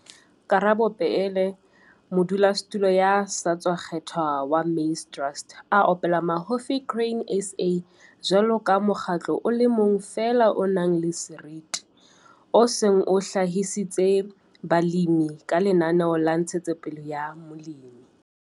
Karabo Peele, modulasetulo ya sa tswa kgethwa wa Maize Trust, a opela mahofi Grain SA jwalo ka mokgatlo o le mong feela o nang le seriti, o seng o hlahisitse balemi ka lenaneo la ntshetsopele ya molemi.